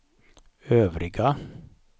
övriga